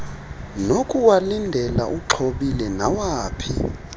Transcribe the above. nokuwalindela uxhobile nawaphi